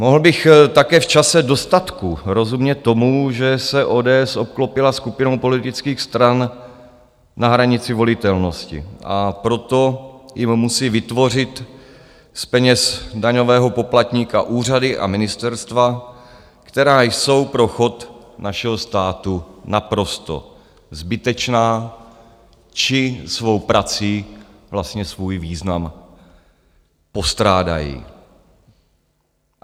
Mohl bych také v čase dostatku rozumět tomu, že se ODS obklopila skupinou politických stran na hranici volitelnosti, a proto jim musí vytvořit z peněz daňového poplatníka úřady a ministerstva, která jsou pro chod našeho státu naprosto zbytečná či svou prací vlastně svůj význam postrádají.